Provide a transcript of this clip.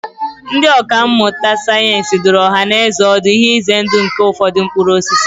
Ndị ọkà mmụta sayensị dụrụ ọhanaeze ọdụ ihe ize ndụ nke ụfọdụ mkpụrụ osisi